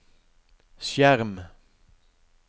skjerm